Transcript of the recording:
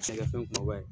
Sɛnɛkɛfɛn kumaba ye